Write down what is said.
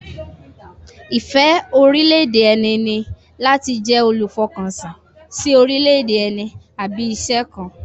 Ìfẹ́ orílẹ̀-èdè ẹni ní láti jẹ́ olùfọkànsìn sí orílẹ̀-èdè ẹni àbí iṣẹ́ kan